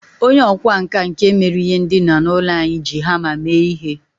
Onye ọkwá nkà nke mere ihe ndina n'ụlọ anyị, ji hama mee ihe.